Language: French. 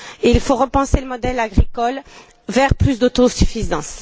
Il faut repenser le modèle agricole vers plus d'autosuffisance.